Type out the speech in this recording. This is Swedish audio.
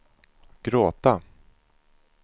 gråta